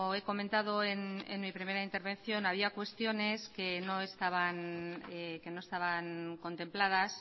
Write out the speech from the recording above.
he comentado en mi primera intervención había cuestiones que no estaban contempladas